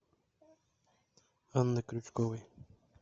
анны крючковой